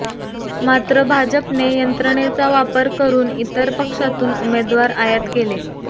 मात्र भाजपने यंत्रणेचा वापर करुन इतर पक्षातून उमेदवार आयात केले